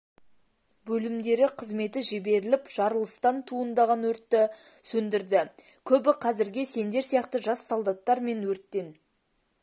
бөлімдері қызметі жіберіліп жарылыстан туындаған өртті сөндірді көбі қазірге сендер сияқты жас солдаттар мен өрттен